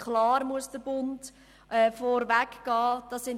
Klar, der Bund muss vorneweg gehen.